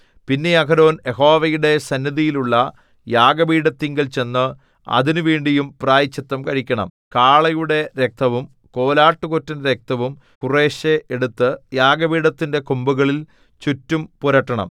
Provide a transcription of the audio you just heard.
പിന്നെ അഹരോൻ യഹോവയുടെ സന്നിധിയിലുള്ള യാഗപീഠത്തിങ്കൽ ചെന്ന് അതിനുവേണ്ടിയും പ്രായശ്ചിത്തം കഴിക്കണം കാളയുടെ രക്തവും കോലാട്ടുകൊറ്റന്റെ രക്തവും കുറേശ്ശെ എടുത്തു യാഗപീഠത്തിന്റെ കൊമ്പുകളിൽ ചുറ്റും പുരട്ടണം